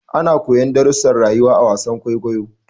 Ana koyon darrusan rayuwa a wasar kwaikwayo